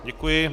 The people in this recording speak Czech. Děkuji.